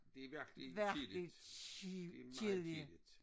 Det er virkelig kedeligt. Det er meget kedeligt